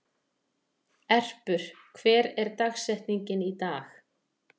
Erpur, hver er dagsetningin í dag?